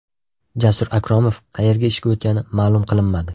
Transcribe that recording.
Jasur Akromov qayerga ishga o‘tgani ma’lum qilinmadi.